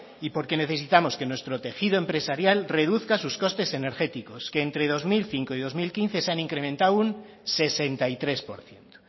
y porque necesitamos que nuestro tejido empresarial reduzca sus costes energéticos que entre el dos mil cinco y dos mil quince se han incrementado un sesenta y tres por ciento